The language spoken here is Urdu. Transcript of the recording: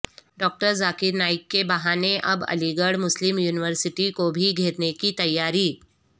ڈاکٹر ذاکر نائک کے بہانے اب علی گڑھ مسلم یونیورسٹی کو بھی گھیرنے کی تیاری